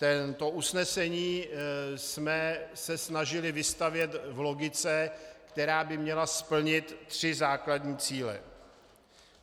To usnesení jsme se snažili vystavět v logice, která by měla splnit tři základní cíle.